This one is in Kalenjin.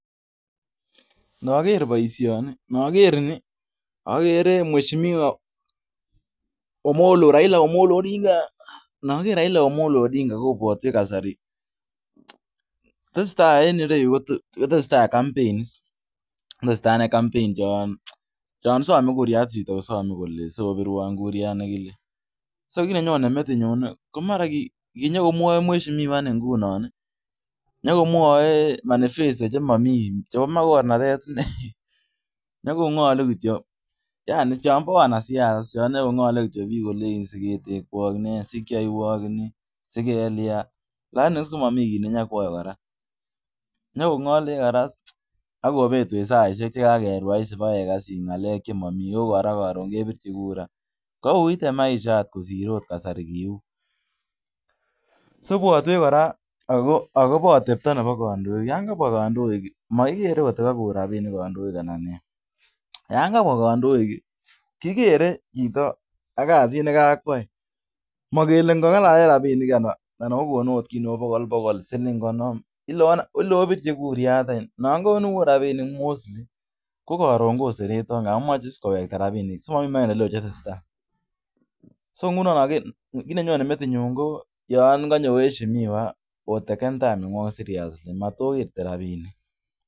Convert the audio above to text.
Nogor boishoni .oger mweshimiwa Raila Omolo Odinga kobwotwen kasari tesetai en yu ko tesetai coumpain chon some kura chito kosome kole sobirwon kurayat nekile kit nenyonen metinyun ko kinyonen mweshimiwa ngunon nyokomwoe manifesto chemomi chebo mokornat t inai ne sikwoiwok ni asigelian lakini komomi kit nekoyoe kora nyokongolech asikobetwet sait asipekakekas ngalek chemomi kou kora korun kebirchi kura. Kouit maisha kosir yon kiu inwetwech kora akobo kondoik mokikere kotukakon rabinik kondoik Alan nee yon kabea kondoik kigere chito ak kasit nekakoyai mogele kongalalen rabinika alakokon kit neu bokolbokol obirchi kurayat nogonu ot rabinik Mut ko korun koseretok kap nyolu kowekta rabinik kit nenyonen metinyun yon konyo mwashimiwa oteken time nenywon seriously